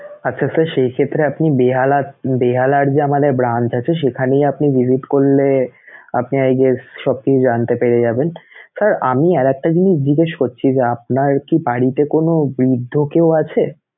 আচ্ছা sir সেই ক্ষেত্রে আপনি বেহালা~ বেহালার যে আমাদের branch আছে সেখানেই আপনি visit করলে আপনি I guess সব কিছু জানতে পেরে যাবেন Sir আমি আর একটা জিনিস জিজ্ঞেস করছি যে, আপনার কি বাড়িতে কোন বৃদ্ধ কেউ আছে?